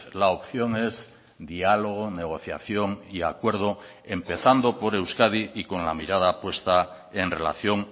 la opción es diálogo negociación y acuerdo empezando por euskadi y con la mirada puesta en relación